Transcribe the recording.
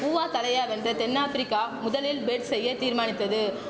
ஊவா தலையா வென்ற தென் ஆப்பிரிக்கா முதலில் பெட் செய்ய தீர்மானித்தது